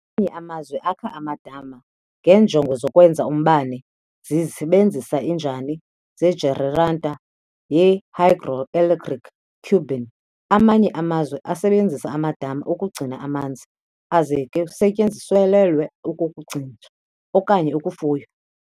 Amanye amazwi akha amadami ngeenjongo zokwenza umbane zisebenzisa injani zejeneratha yehydroelectric turbine, Amanye amazwe asebenzisa amadama ukugcina amanzi aze ke usetyenziselelwe ukukugcina okanye ukufuya.